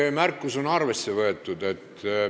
Teie märkus on arvesse võetud.